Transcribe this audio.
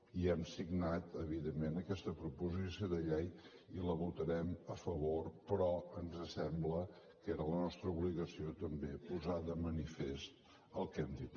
i hem signat evidentment aquesta proposició de llei i la votarem a favor però ens sembla que era la nostra obligació també posar de manifest el que hem dit